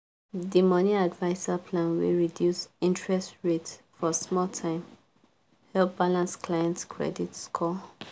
the money adviser plan wey reduce interest rate for small time help balance clients credit score.